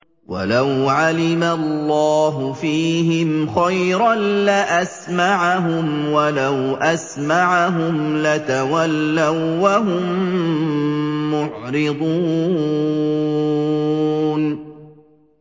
وَلَوْ عَلِمَ اللَّهُ فِيهِمْ خَيْرًا لَّأَسْمَعَهُمْ ۖ وَلَوْ أَسْمَعَهُمْ لَتَوَلَّوا وَّهُم مُّعْرِضُونَ